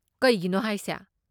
ꯀꯩꯒꯤꯅꯣ ꯍꯥꯏꯁꯦ?